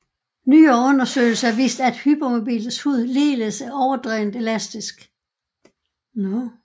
Nyere undersøgelser har vist at hypermobiles hud ligeledes er overdrevent elastisk